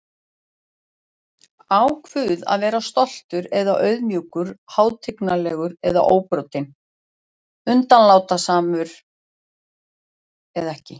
Á Guð að vera stoltur eða auðmjúkur, hátignarlegur eða óbrotinn, undanlátssamur eða ekki?